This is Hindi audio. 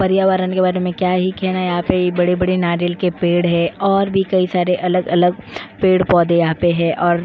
पर्यावरण के बारे में क्या ही कहना यहां पे बड़े-बड़े नारियल के पेड़ है और भी कई सारे अलग-अलग पेड़ पौधे यहां पे हैं और --